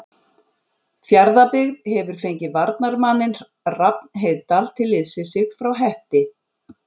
Fjarðabyggð hefur fengið varnarmanninn Rafn Heiðdal til liðs við sig frá Hetti.